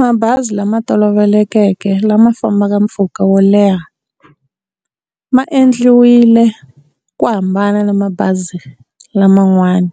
Mabazi lama tolovelekeke lama fambaka mpfhuka wo leha ma endliwile ku hambana na mabazi laman'wana